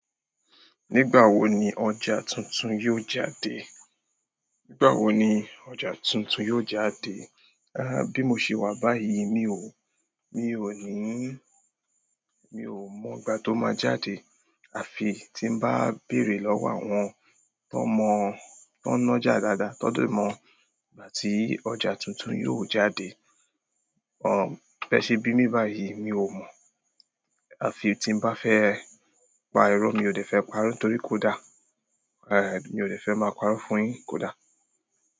Nígbà wo ni ọjà tuntun yóò jáde? Nígbà wo ni ọjà tuntun yóò jáde? Bí mo ṣe wà báyìí, mi ò, mi ò ní, mi ò mọ ìgbà tó máa jáde. Àfi tí n bá béèrè lọ́wọ́ àwọn tó mọ̀, tó nọ́já dáadáa, tó de mọ̀ ìgbà tí ọjà tuntun yóò jáde. Mbẹ́ẹ̀ṣe bí mi báyìí, mi ò mọ̀. Àfi tí n bá fẹ́ pa irọ́ mi ò dé fẹ́ pa'rọ́ torí kò dá. Mi ò dé fẹ́ máa pa'rọ́ fúnyin, kò dá.